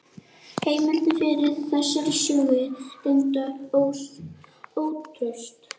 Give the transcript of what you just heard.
Heimildin fyrir þessari sögu er reyndar ótraust.